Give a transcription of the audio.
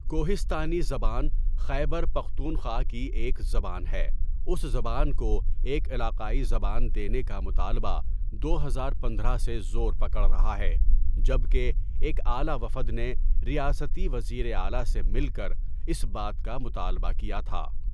کوہستانی زبان خیبرپختونخوا کی ایک زبان ہے اس زبان کو ایک علاقائی زبان دینے کا مطالبہ دو ہزار پندرہ سے زور پکڑ رہا ہے جبکہ ایک اعلٰی وفد نے ریاستی وزیر اعلٰی سے ملکر اس بات کا مطالبہ کیا تھا.